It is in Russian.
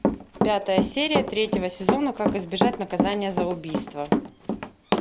пятая серия третьего сезона как избежать наказания за убийство